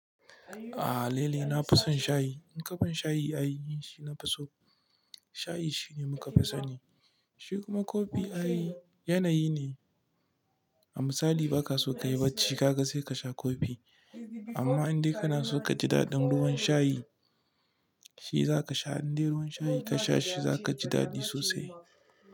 Aha lele nafison shayi. In kaban shayi ay ni shi nafiso shayi shine muka fi sani Shi kuma kofi ay yanayi ne, amsali baka so kayi bacci kaga sai kasha kofi. Amma in dai kana so kaji daɗin ruwan shayi, shi zaka sha. In dai ruwan shayi kasha shi zaka ji daɗi sosai.